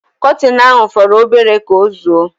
Kọtin ahu foro obere ka ozuo